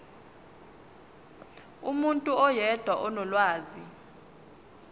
umuntu oyedwa onolwazi